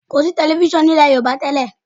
Kọ̀ sí tẹlifísàn ní ilẹ̀ Yorùbá tẹ́ẹ̀